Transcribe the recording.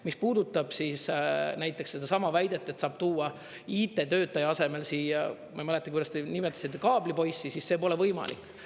Mis puudutab näiteks sedasama väidet, et saab tuua IT-töötaja asemel siia – ma ei mäleta, kuidas te nimetasite seda – kaablipoissi, siis see pole võimalik.